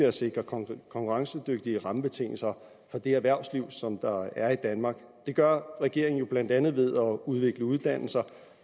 at sikre konkurrencedygtige rammebetingelser for det erhvervsliv som der er i danmark det gør regeringen jo blandt andet ved at udvikle uddannelser